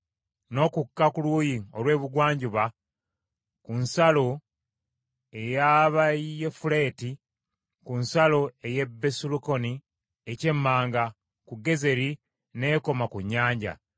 n’okukka ku luuyi olw’ebugwanjuba ku nsalo ey’Abayafuleti ku nsalo ey’e Besukolooni eky’emmanga ku Gezeri n’ekoma ku nnyanja.